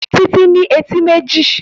Títí ní etí méjì